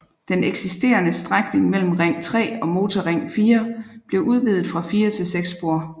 Den eksisterende strækning mellem Ring 3 og Motorring 4 blev udvidet fra 4 til 6 spor